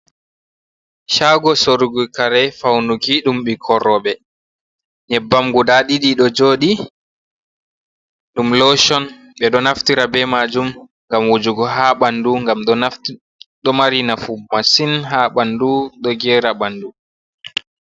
Shaago sorugo kare faunuki ɗum ɓikkon roɓe nyebbam guda ɗiɗi ɗo joɗi ɗum loshon ɓe ɗo naftira be majum ngam wujugo ha ɓandu ngam ɗo mari nafu masin ha ɓandu ɗo gera ɓandu.